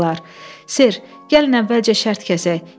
Ser, gəlin əvvəlcə şərt kəsək.